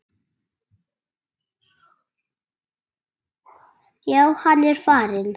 Já, hann er farinn